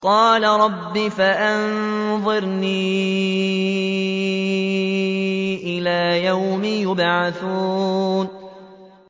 قَالَ رَبِّ فَأَنظِرْنِي إِلَىٰ يَوْمِ يُبْعَثُونَ